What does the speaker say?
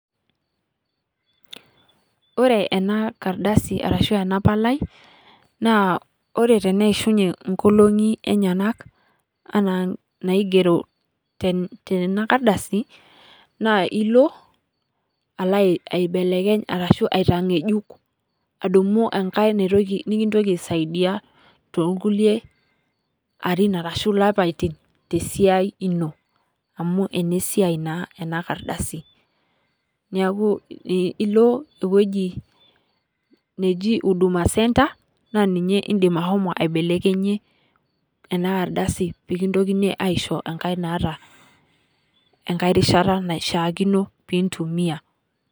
Ore ena kardasa arashu ena palai, ore tene ishunye inkolongi enyenak ena naigero tena kardasi na ilo alo aibelekeny ashu aitang'ejuk adung'u enkae nikintoki aisaidia toonkulie arin ashu lapaitin tesiai ino, amuu ene siai naa ena kardasi. Neeku ilo eweji neeji Huduma center naa ninye idim ashomo aibelekenyie ena ardasi pekintokini aisho enkae naata enkae rishata naishakiino pintumia.